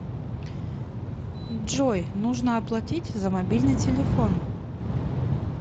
джой нужно оплатить за мобильный телефон